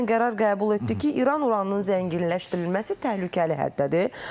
MAQATE dünən qərar qəbul etdi ki, İran uranının zənginləşdirilməsi təhlükəli həddədir.